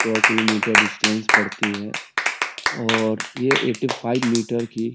सौ kilometre distance पड़ती है और यह एट्टी फाइव मीटर की --